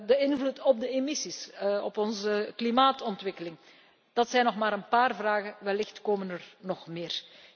De invloed op de emissies, op onze klimaatontwikkeling. Dat zijn nog maar een paar vragen, wellicht komen er nog meer!